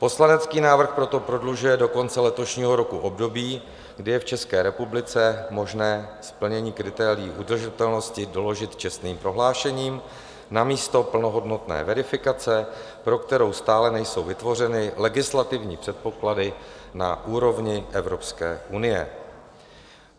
Poslanecký návrh proto prodlužuje do konce letošního roku období, kdy je v České republice možné splnění kritérií udržitelnosti doložit čestným prohlášením namísto plnohodnotné verifikace, pro kterou stále nejsou vytvořeny legislativní předpoklady na úrovni Evropské unie.